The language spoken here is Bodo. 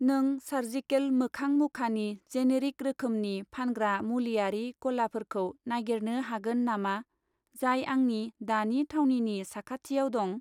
नों सार्जिकेल मोखां मुखानि जेनेरिक रोखोमनि फानग्रा मुलिआरि गलाफोरखौ नागिरनो हागोन नामा, जाय आंनि दानि थावनिनि साखाथियाव दं?